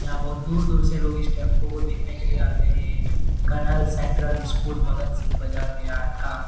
यहाँ बहुत दूर-दूर से लोग इस टैंपू को देखने के लिए आते हैं। ये एक कन्हा सेंट्रल स्कूल भगत सींग बाजार गया था।